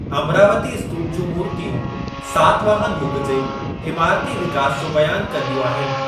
अमरावती स्तूप जूं मूर्तियूं सातवाहन युग जे इमारती विकास जो बयान कंदियूं आहिनि।